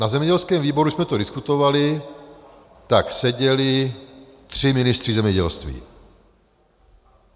Na zemědělském výboru jsme to diskutovali, tak seděli tři ministři zemědělství.